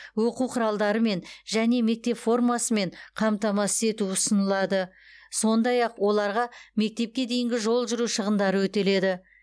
оқу құралдарымен және мектеп формасымен қамтамасыз ету ұсынылады сондай ақ оларға мектепке дейінгі жол жүру шығындары өтеледі